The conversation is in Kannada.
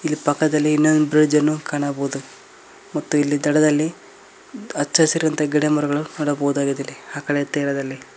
ಇಲ್ಲಿ ಪಕ್ಕದಲ್ಲಿ ಇನ್ನೊಂದು ಬ್ರಿಡ್ಜ್ ಅನ್ನು ಕಾಣಬಹುದು ಮತ್ತು ಇಲ್ಲಿ ದಡದಲ್ಲಿ ಹಚ್ಚ ಹಸಿರಾದಂತ ಗಿಡಮರಗಳು ನೊಡಬಹುದಾಗಿದೆ ಇಲ್ಲಿ ಆ ಕಡೆ ತೀರದಲ್ಲಿ --